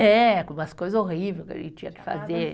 É, com umas coisa horrível que a gente tinha que fazer.